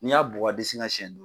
Ni y'a bugɔ a disi la siyɛn